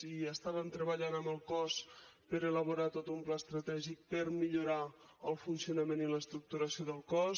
i estàvem treballant amb el cos per elaborar tot un pla estratègic per millorar el funcionament i l’estructuració del cos